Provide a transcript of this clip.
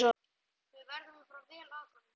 Við verðum að fara vel að honum.